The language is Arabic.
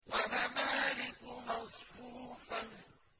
وَنَمَارِقُ مَصْفُوفَةٌ